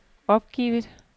opgivet